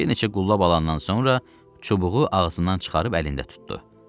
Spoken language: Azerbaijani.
Bir neçə qullab alandan sonra çubuğu ağzından çıxarıb əlində tutdu.